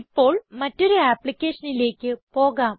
ഇപ്പോൾ മറ്റൊരു ആപ്പ്ളിക്കേഷനിലേക്ക് പോകാം